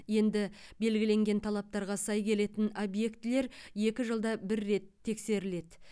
енді белгіленген талаптарға сай келетін объектілер екі жылда бір рет тексеріледі